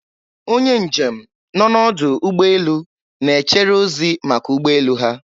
Onye njem nọ n'ọdụ ụgbọ elu, na-echere ozi maka ụgbọ elu ha